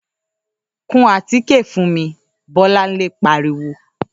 ‘Kun àtíkè fún mi!’, Bó̩láńlé pariwo